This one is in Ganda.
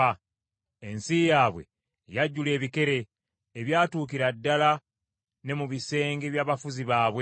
Ensi yaabwe yajjula ebikere, ebyatuukira ddala ne mu bisenge by’abafuzi baabwe.